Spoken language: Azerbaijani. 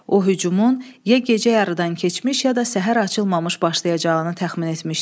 O hücumun ya gecə yarıdan keçmiş, ya da səhər açılmamış başlayacağını təxmin etmişdi.